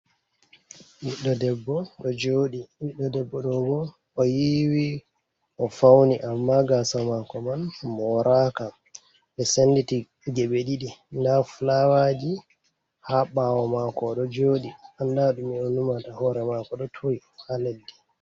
Ɓiɗɗo debbo ɗo joɗi, ɓiɗɗo debbo ɗo oɗo yiwi o fauni amma gasa mako man moraka, ɓe senditi geɓe ɗiɗi nda flawaji ha bawo mako ɗo jodi, Anda ɗume o numata, hore mako do turi ha leddi.